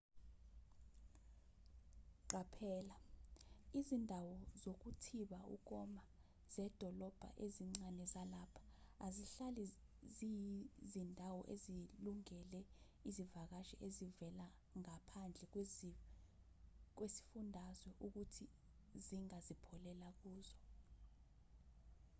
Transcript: qaphela izindawo zokuthiba ukoma zedolobha ezincanezalapha azihlali ziyizindawo ezilungele zivakashi ezivela ngaphandle kwesifundazwe ukuthi zingazipholela kuzo